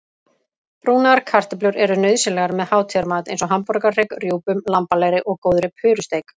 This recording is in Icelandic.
Brúnaðar kartöflur eru nauðsynlegar með hátíðamat eins og hamborgarhrygg, rjúpum, lambalæri og góðri purusteik.